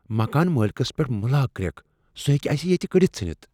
مکان مٲلکس پیٹھ مہ لاگ کریکھ۔ سہ ہیٚکہ اسہ ییتہ کڈتھ ژھٕنتھ۔